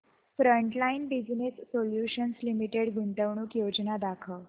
frontline business solutions limited गुंतवणूक योजना दाखव